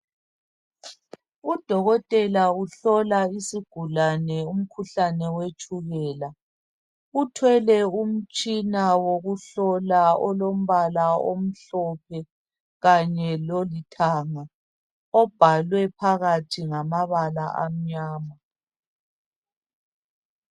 Udokotela uhlola isigulani umkhuhlane wetshukela. Uthwele umtshina wokuhlola olombala omhlophe kanye lolithanga obhalwe phakathi ngamabala amnyama.